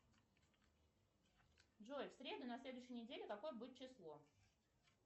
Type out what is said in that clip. джой в среду на следующей неделе какое будет число